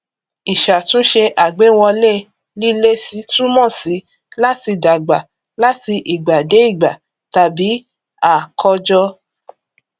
ìṣàtúnṣe àgbéwọlé lílési túmọ sí láti dàgbà láti ìgbà dé ìgbà tàbí àkọjọ